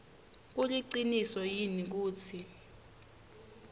kuliciniso yini kutsi